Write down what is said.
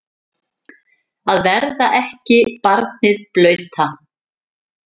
Að verða ekki barnið blauta